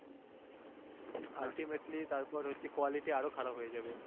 ultimately তারপরে হচ্ছে quality আরও খারাপ হয়ে যাবে